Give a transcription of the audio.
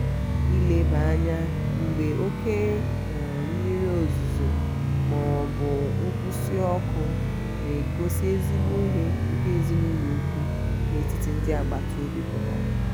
ileba anya mgbe oke um mmiri ozuzu ma ma ọ bụ nkwụsị ọkụ na-egosi ezigbo ihe nke èzinùlọ̀ ụ̀kwụ̀ n'etiti ndi agbata obi pụtara.